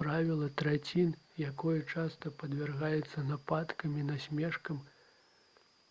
правіла трацін якое часта падвяргаецца нападкам і насмешкам